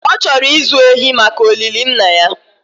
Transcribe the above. ọ chọrọ ịzụ ehi maka olili Nna ya